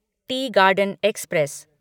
T garden express